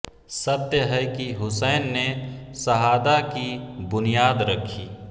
सत्य है कि हुसैन ने शहादा की बुनियाद रखी